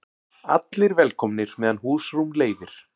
Allir velkomnir meðan húsrúm leyfir